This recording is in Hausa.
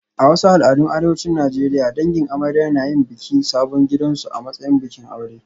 A wasu al'adun arewacin Najeriya, dangin amarya na yin bikin sabon gidansu a matsayin bikin aure